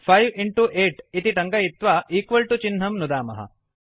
5 8 इति टङ्कयित्वा चिह्नं नुदामः